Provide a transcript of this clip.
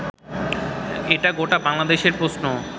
এটা গোটা বাংলাদেশের প্রশ্ন